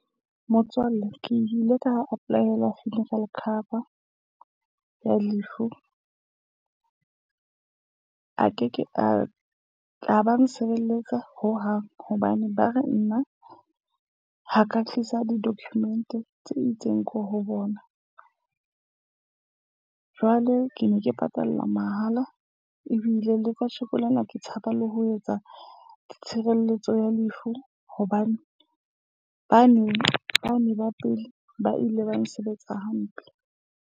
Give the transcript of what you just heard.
Motswalle, ke ile ka apply-ela funeral cover ya lefu. A Okay, Ke a ka ba nsebeletsa hohang hobane ba re nna ha ka tlisa di-document tse itseng ko ho bona. Jwale ke ne ke patala mahala. Ebile le kasheko lena ke tshaba le ho etsa tshireletso ya lefu, hobane bane bane ba pele ba ile ba nsebetsa hampe.